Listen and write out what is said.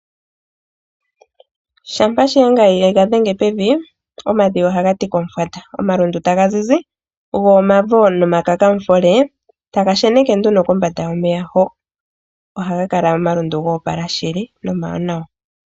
Shampa Shiyenga yega dhenge pevi, omadhiya ohaga udha komufwata. Omalundu taga zizi, go omafo nomakakamushole taga sheneke nduno kombanda yomeya hoka. Omalundu ohaga kala goopala shili na omawanawa.